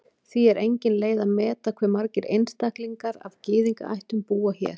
Því er engin leið að meta hve margir einstaklingar af Gyðingaættum búa hér.